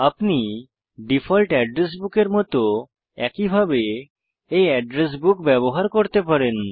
আপনি default address বুকের মত একইভাবে এই এড্রেস বুক ব্যবহার করতে পারেন